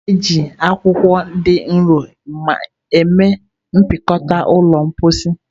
A na-eji akwụkwọ dị nro mee mpịakọta ụlọ mposi.